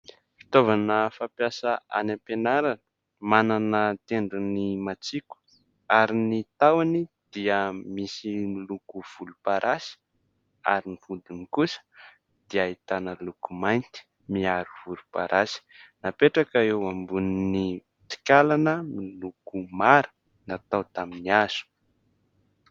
Fitaovana fampiasa any am-pianarana : manana tendrony matsiko ary ny tahony dia misy miloko volomparasy ary ny vodiny kosa dia ahitana loko mainty miharo volomparasy. Napetraka eo ambonin'ny tsikalana miloko mara natao tamin'ny hazo.